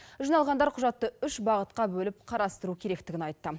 жиналғандар құжатты үш бағытқа бөліп қарастыру керектігін айтты